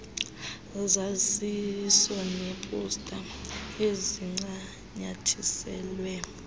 zaziso neeposta ezincanyathiselwe